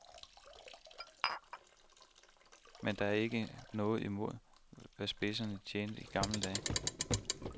Men det er ikke noget imod, hvad spidserne tjente i gamle dage.